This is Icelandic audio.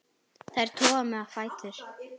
Þær toga mig á fætur.